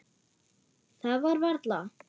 Það var varla.